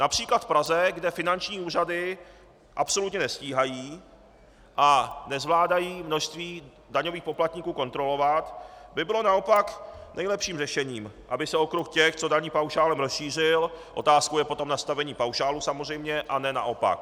Například v Praze, kde finanční úřady absolutně nestíhají a nezvládají množství daňových poplatníků kontrolovat, by bylo naopak nejlepším řešením, aby se okruh těch, co daní paušálem, rozšířil, otázkou je potom nastavení paušálu samozřejmě, a ne naopak.